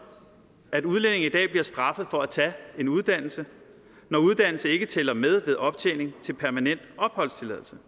at udlændinge i dag bliver straffet for at tage en uddannelse når uddannelse ikke tæller med ved optjening til permanent opholdstilladelse